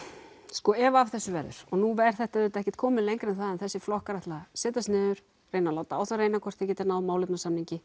sko ef af þessu verður og nú er þetta ekki komið lengra en það að þessir flokkar ætla að setjast niður reyna að láta á það reyna hvort þeir geta náð málefnasamningi